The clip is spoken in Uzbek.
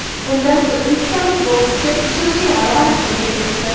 Unda o‘zbekistonlik bokschi ishonchli g‘alabani qo‘lga kiritdi.